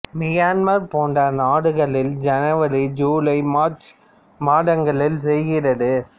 Myanmar போன்ற நாடுகளில் ஜனவரி ஜூலை மார்ச் மாதங்களில் செய்கிறது